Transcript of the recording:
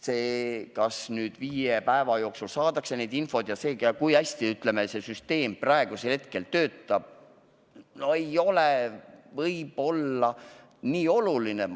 See, kas viie päeva jooksul saadakse infot ja kui hästi see süsteem praegu töötab, ei ole võib-olla nii oluline.